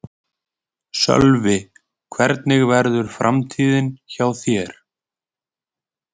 Sölvi: Hvernig verður framtíðin hjá þér?